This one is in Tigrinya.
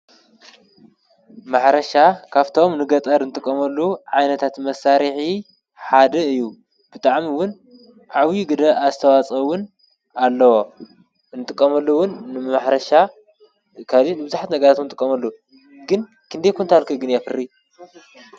ማሕረሻ ካፍቶም ንገጠር እንጥቐመሉ ዓይነታት መሳሪሒ ሓደ እዩ፡፡ ብጣዕሚ ውን ዓብዪ ግደ ኣስተዋኦ ውን ኣለዎ፡፡ እንጥቆመሉ ውን ንማሕረሻ ካሊእ ንብዙሕት ነገራት ውን ንጥቀመሉ ግን ክንደይ ኮንታል ከ ግን የፍሪ?